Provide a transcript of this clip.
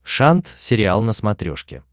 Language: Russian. шант сериал на смотрешке